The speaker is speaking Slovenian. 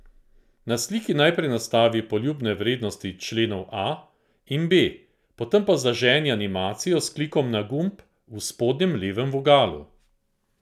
Na sliki najprej nastavi poljubne vrednosti členov a in b, potem pa zaženi animacijo s klikom na gumb v spodnjem levem vogalu.